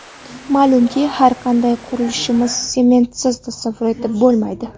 Ma’lumki, har qanday qurilishni sementsiz tasavvur etib bo‘lmaydi.